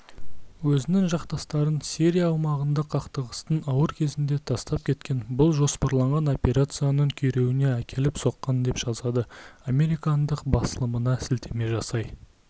өзінің жақтастарын сирия аумағында қақтығыстың ауыр кезінде тастап кеткен бұл жоспарланған операцияның күйреуіне әкеліп соққан деп жазады американдық баслымына сілтеме жасай